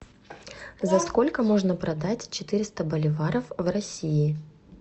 за сколько можно продать четыреста боливаров в россии